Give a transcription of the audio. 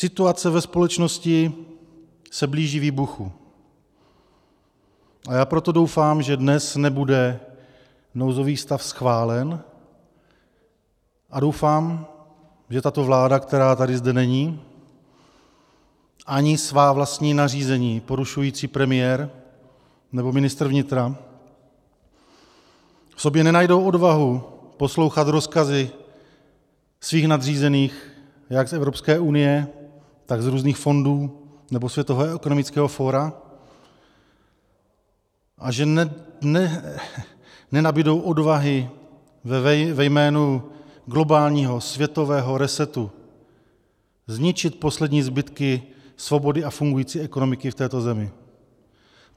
Situace ve společnosti se blíží výbuchu, a já proto doufám, že dnes nebude nouzový stav schválen, a doufám, že tato vláda, která tady, zde není, ani svá vlastní nařízení porušující premiér nebo ministr vnitra v sobě nenajdou odvahu poslouchat rozkazy svých nadřízených jak z Evropské unie, tak z různých fondů nebo Světového ekonomického fóra a že nenabudou odvahy ve jménu globálního světového resetu zničit poslední zbytky svobody a fungující ekonomiky v této zemi.